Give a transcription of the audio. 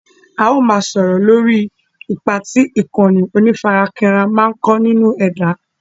Áà ó máa sọ̀rọ̀ lórí ipá tí ìkànnì onífarakínra ń kó nínú ẹ̀dá.